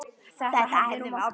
Þetta hefði nú mátt bíða.